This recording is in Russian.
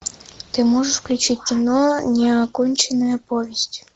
ты можешь включить кино неоконченная повесть